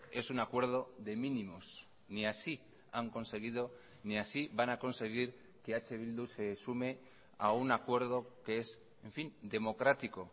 es un acuerdo de mínimos ni así han conseguido ni así van a conseguir que eh bildu se sume a un acuerdo que es en fin democrático